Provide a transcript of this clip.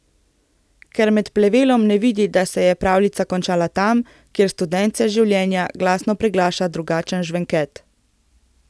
Ker med plevelom ne vidi, da se je pravljica končala tam, kjer studence življenja glasno preglaša drugačen žvenket.